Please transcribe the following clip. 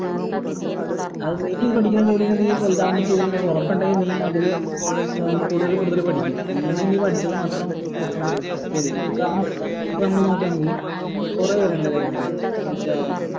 അത് നീ പടിക്കണ നീ വലുതാകുമ്പോ ചെയ്യും എന്ന് നിനക്കു ഉറപ്പിണ്ടേൽ നീ അതില് ഏർ കൂടുതൽ കൂടുതൽ പഠിക്കും ഇല്ലെങ്ങി നീ പഠിച്ചത് മാത്രം വെച്ചണ്ട് ജോലി ചെയ്യണം കാരണം ഇപ്പൊ നമ്മൾ നോക്കാന്നിണ്ടേൽ കൊറേ പേര് ഇണ്ട് life ൽ എന്ന് വെച്ച